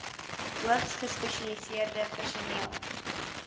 hoogs gespesialiseerde personeel